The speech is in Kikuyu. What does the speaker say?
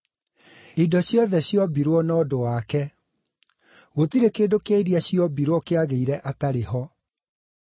Indo ciothe ciombirwo na ũndũ wake; gũtirĩ kĩndũ kĩa iria ciombirwo kĩagĩire atarĩ ho.